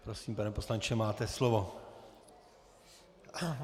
Prosím, pane poslanče, máte slovo.